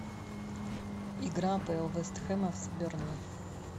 игра апл вест хэма с бернли